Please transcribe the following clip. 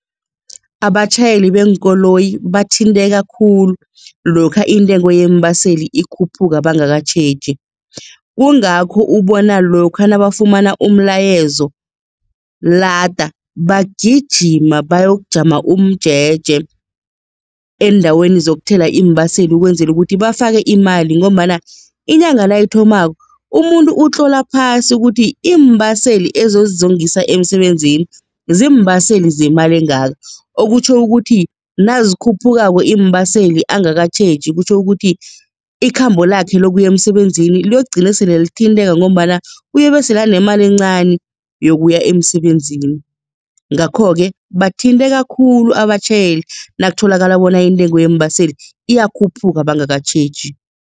Abatjhayeli beenkoloyi bathinteka khulu lokha intengo yeembaseli ikhuphuka bangakatjheji, kungakho ubona lokha nabafumana umlayezo lada bagijima beyokujama umjeje eendaweni zokuthela iimbaseli ukwenzela ukuthi bafake imali ngombana inyanga nayithomako umuntu utlola phasi ukuthi iimbaseli ezozingisa emisebenzini ziimbaseli zemali engaka okutjho ukuthi nazikhuphukako iimbaseli angakatjheji kutjho ukuthi, ikhambo lakhe lokuya emsebenzini liyokugcine sele lithinteka ngombana uyobesele anemali encani yokuya emsebenzini, ngakho-ke bathinteka khulu abatjhayeli nakutholakala bona intengo yeembaseli iyakhuphuka bangakatjheji.